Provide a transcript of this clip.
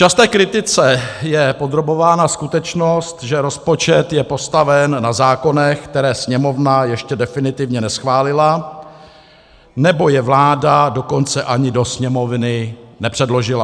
Časté kritice je podrobována skutečnost, že rozpočet je postaven na zákonech, které Sněmovna ještě definitivně neschválila, nebo je vláda dokonce ani do Sněmovny nepředložila.